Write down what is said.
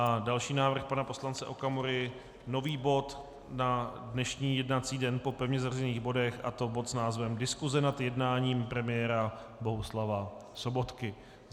A další návrh pana poslance Okamury, nový bod na dnešní jednací den po pevně zařazených bodech, a to bod s názvem Diskuse nad jednáním premiéra Bohuslava Sobotky.